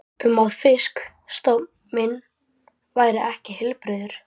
um að fisk- stofn minn væri ekki heilbrigður.